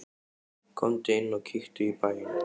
Komdu inn og kíktu í bæinn!